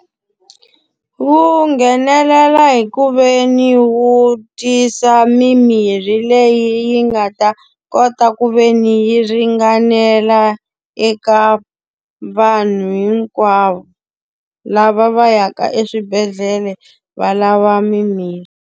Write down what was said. Wu nghenelela hikuveni wu tisa mimirhi leyi yi nga ta kota ku ve ni yi ringanela eka vanhu hinkwavo, lava va yaka eswibedhlele valava mimirhi.